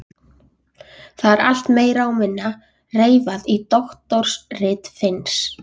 Það er allt meira og minna reifað í doktorsriti Finns.